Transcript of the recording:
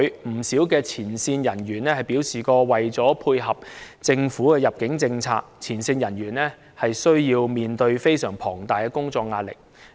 不少入境處的前線人員曾表示，為了配合政府的入境政策，他們需要面對相當龐大的工作壓力。